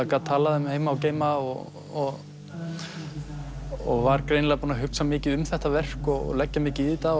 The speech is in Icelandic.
gat talað um heima og geima og og var mjög greinilega búinn að hugsa mikið um þetta verk og leggja mikið í þetta